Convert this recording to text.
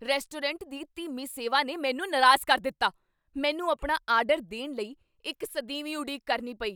Restaurant ਦੀ ਧੀਮੀ ਸੇਵਾ ਨੇ ਮੈਨੂੰ ਨਾਰਾਜ਼ ਕਰ ਦਿੱਤਾ। ਮੈਨੂੰ ਆਪਣਾ ਆਰਡਰ ਦੇਣ ਲਈ ਇੱਕ ਸਦੀਵੀ ਉਡੀਕ ਕਰਨੀ ਪਈ!